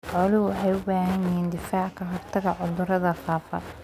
Xooluhu waxay u baahan yihiin difaac ka hortagga cudurrada faafa.